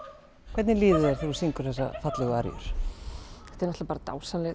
hvernig líður þér þú syngur þessar fallegu aríur þetta er bara dásamleg